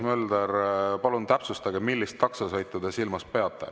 Tõnis Mölder, palun täpsustage, millist taksosõitu te silmas peate.